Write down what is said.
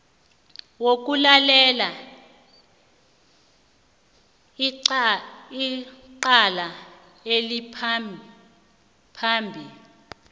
wokulalela icala eliphambi